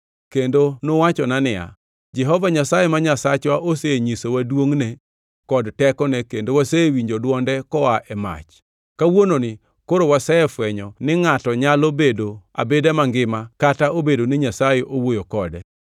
Kendo nuwachona niya, “Jehova Nyasaye ma Nyasachwa osenyisowa duongʼne kod tekone kendo wasewinjo dwonde koa e mach. Kawuononi koro wasefwenyo ni ngʼato nyalo bedo abeda mangima kata obedo ni Nyasaye owuoyo kode.